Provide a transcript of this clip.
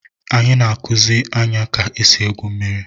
Ana m akuziri Anya ka esi egwu mmiri